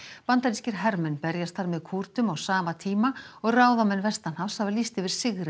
bandarískir hermenn berjast þar með Kúrdum á sama tíma og ráðamenn vestanhafs hafa lýst yfir sigri